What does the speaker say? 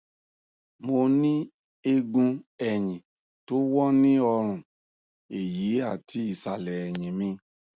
mo ní eegun ẹyìn tó wọ ní ọrùn ẹyì àti ìsàlẹ ẹyìn mi